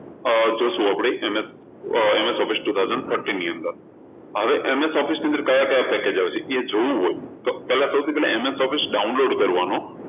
જોશું આપણે MSofficetwo thousand thirteen ની અંદર હવે MS Office ની અંદર ક્યાં ક્યાં package આવશે એ જોવું હોય તો પહેલા MSofficedownload કરવાનું